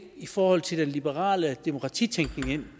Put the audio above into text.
i forhold til den liberale demokratitænkning